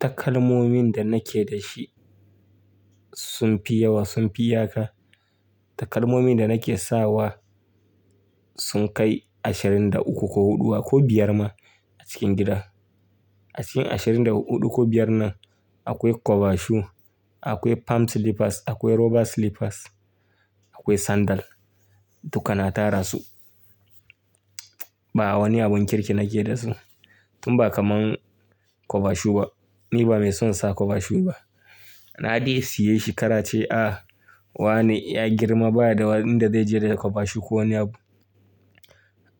Takalmomin da nake da shi sun fi yawa, sun fi yaka. Takalmomin da nake sawa sun kai ashirin da uku ko huɗuwa ko biyar ma a cikin gida. A cikin ashirin da huɗu ko biyar nan akwai cover shoe, akwai palm slippers, akwai rubber slippers, akwai sandal duka na tara su. Ba wani abun kirki nake da su. Tun ba kamar cover shoe ba. Ni ba mai son sa kova shu ba. Na dai siye shi ƙarace, ah wane ya girma baya da wani inda zai je da cover shoe ko wani abu.